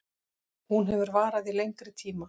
Hún hefur varað í lengri tíma